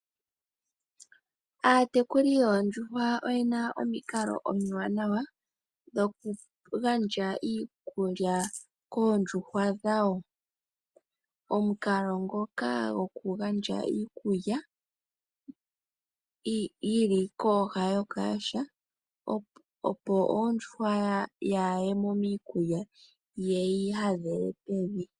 Aatekuli yoondjuhwa oyena omikalo omiwanawa dhoku gandja iikulya koondjuhwa dhawo. Omukalo ngoka goku gandja iikulya yili kooha dhaokayaha opo ondjuhwa kayi yemo miikulya yeyi hadhele pevi.